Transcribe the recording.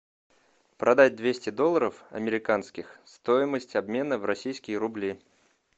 продать двести долларов американских стоимость обмена в российские рубли